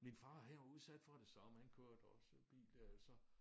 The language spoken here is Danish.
Min far her er udsat for det så men han kørte også bil der så